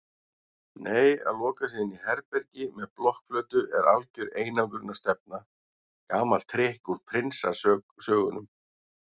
Nei að loka sig inní herbergi með blokkflautu er algjör einangrunarstefna, gamalt trikk úr prinsasögunum.